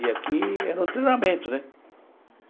E aqui era um treinamento, né?